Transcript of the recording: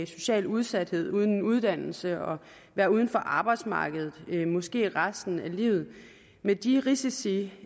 social udsathed altså uden uddannelse og ved at være uden for arbejdsmarkedet måske resten af livet med de risici